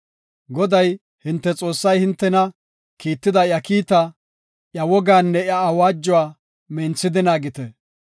Goday, hinte Xoossay hintena kiitida iya kiita, iya wogaanne iya awaajuwa minthidi naagite.